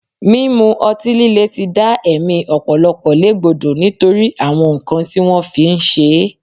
Mímu ọtí líle ti dá ẹ̀mí ọ̀pọ̀lọpọ̀ légbodò nítorí àwọn nǹkan tí wọ́n fi ń ṣe é